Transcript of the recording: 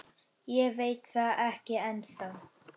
Ég veit það ekki ennþá.